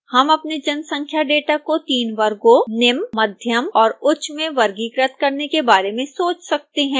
हम अपने जनसंख्या डेटा को 3 वर्गों निम्न मध्यम और उच्च में वर्गीकृत करने के बारे में सोच सकते हैं